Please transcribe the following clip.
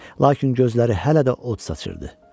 Lakin gözləri hələ də od saçırıdı.